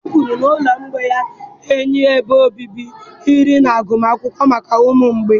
Dash kwuru na ụlọ ụmụ mgbei ya ga-enye ebe obibi, nri na agụmakwụkwọ maka ụmụ mgbei.